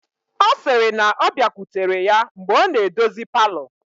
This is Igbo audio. Ọ sịrị na ọ bịakwutere ya mgbe ọ na-edozi palọ